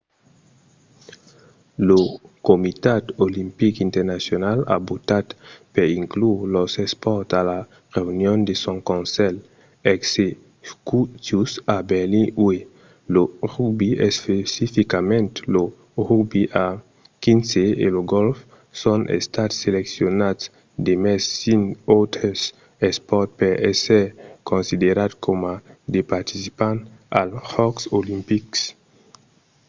lo comitat olimpic internacional a votat per inclure los espòrts a la reünion de son conselh executiu a berlin uèi. lo rugbi especificament lo rugbi a xv e lo gòlf son estats seleccionats demest cinc autres espòrts per èsser considerats coma de participants als jòcs olimpics